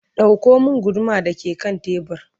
ɗauko min guduma da ke kan tebur!